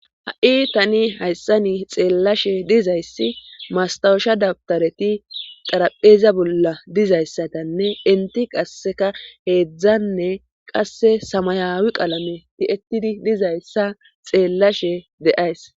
Ha7i tani hayssani xeellashe dizayssi mastawusha dabtareti xarapheeza bolla dizayssatanne inti qasseka heedzdzanne qasse samayawi qalame ti7etidi dizayssa xeellashe de7ays.